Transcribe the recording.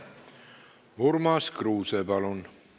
Urmas Kruuse, palun!